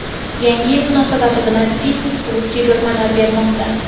Yangi yil munosabati bilan fitnes-klub chegirmalar bermoqda.